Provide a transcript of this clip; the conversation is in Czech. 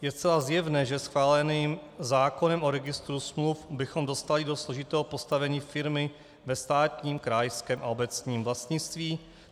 Je zcela zjevné, že schváleným zákonem o registru smluv bychom dostali do složitého postavení firmy ve státním, krajském a obecním vlastnictví.